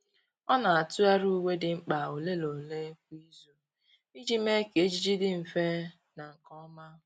Ọ́ nà-átụ́gharị uwe dị mkpa ole na ole kwa ìzù iji mee kà ejiji dị mfe na nke ọma.